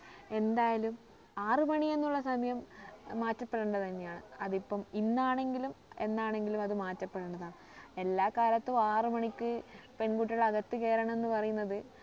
എന്തായാലും ആറു മണി എന്നുള്ള സമയ ഏർ മാറ്റപ്പെടേണ്ടത് തന്നെയാണ് അതിപ്പോ ഇന്നാണെങ്കിലും എന്നാണെങ്കിലും അത് മാറ്റപ്പെടേണ്ടതാ എല്ലാ കാലത്തും പെൺകുട്ടികൾ അകത്ത് കയറണം എന്ന് പറയുന്നത്